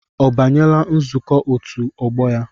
Ọ banyela nzukọ otu ọgbọ ya?